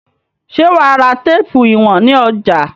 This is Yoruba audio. Ṣé wà á ra téépù ìwọ̀n ní ọjà?